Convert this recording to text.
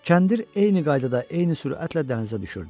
Kəndir eyni qaydada, eyni sürətlə dənizə düşürdü.